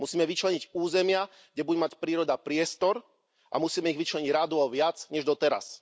Musíme vyčleniť územia, kde bude mať príroda priestor, a musíme ich vyčleniť rádovo viac než doteraz.